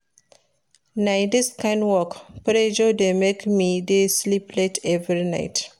Na dis kain work pressure dey make me dey sleep late every night.